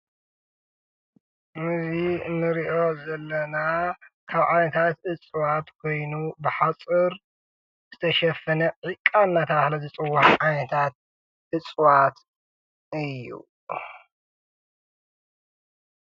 እዚ እንሪኦ ዘለና ካብ ዓይነታት እፅዋት ኮይኑ ብሓፁር ዝተሸፈነ ዒቃ እናተባሃለ ዝፅዋዕ ዓይነት እፅዋት እዩ።